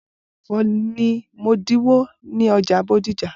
Bolu ra ẹfọ ni modinwo ni ọja bodija.